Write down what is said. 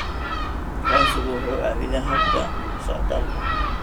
Aqoonsigu wuxuu caawiyaa habka socdaalka.